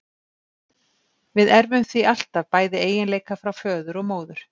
Við erfum því alltaf bæði eiginleika frá föður og móður.